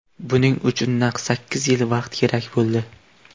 Buning uchun naq sakkiz yil vaqt kerak bo‘ldi.